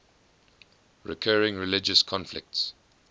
recurring religious conflicts